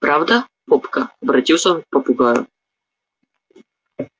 правда попка обратился он к попугаю